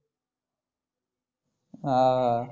हा.